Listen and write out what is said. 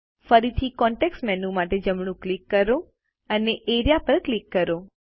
ફરીથી context menu માટે જમણું ક્લિક કરો અને એઆરઇએ પર ક્લિક કરો